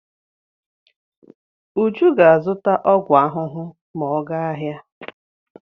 Uju ga-azụta ọgwụ ahụhụ ma ọ gaa ahịa.